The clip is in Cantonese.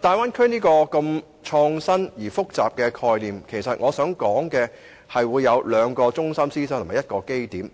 大灣區這種創新而複雜的概念包含兩個中心思想及一個基點，